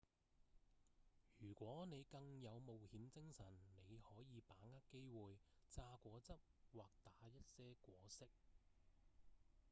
如果你更有冒險精神你可以把握機會榨果汁或打一些果昔：